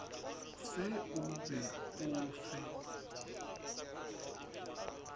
se o be o fe